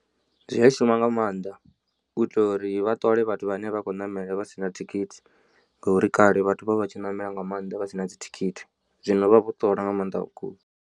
Zwi a shuma nga maanḓa u itela uri vha ṱole vhathu vhane vha khou ṋamela vha sina thikhithi ngauri kale vhathu vha vha tshi ṋamela nga maanḓa vha sina dzithikhithi zwino vha vho ṱola nga maanḓa vhukuma.